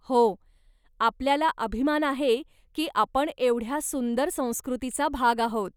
हो, आपल्याला अभिमान आहे की आपण एवढ्या सुंदर संकृतीचा भाग आहोत.